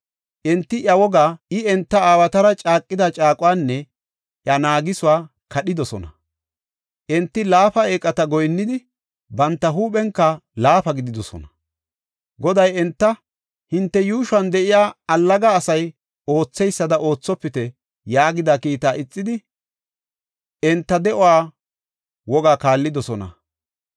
Enti iya wogaa, I enta aawatara caaqida caaquwanne iya naagisuwa kadhidosona. Enti laafa eeqata goyinnidi, banta huuphenka laafa gididosona. Goday enta, “Hinte yuushuwan de7iya allaga asay ootheysada oothopite” yaagida kiitaa ixidi, enta de7uwa wogaa kaallidosona.